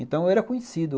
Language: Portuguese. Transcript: Então, eu era conhecido.